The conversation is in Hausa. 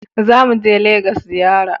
Za mu je Legas ziyara